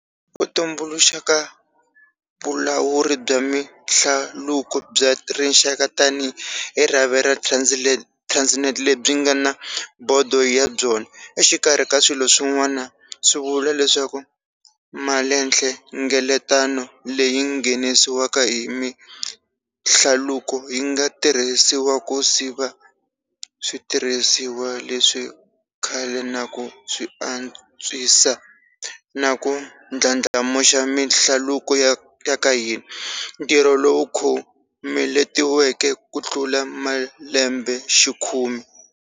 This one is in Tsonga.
Ku tumbuluxa ka Vulawuri bya Mihlaluko bya Rixaka tanihi rhavi ra Transnet lebyi nga na bodo ya byona, exikarhi ka swilo swin'wana, swi vula leswaku malinhlengeleto leyi nghenisiwaka hi mihlaluko yi nga tirhisiwa ku siva switirhisiwa leswa khale na ku swi antswisa na ku ndlandlamuxa mihlaluko ya ka hina, ntirho lowu khomeletiweke kutlula malembexikhume.